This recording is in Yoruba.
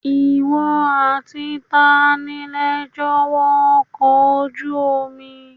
Ìwọ àti tani lẹ jọ wọ ọkọ̀ ojú omi?